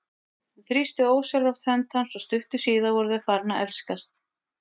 Hún þrýsti ósjálfrátt hönd hans og stuttu síðar voru þau farin að elskast.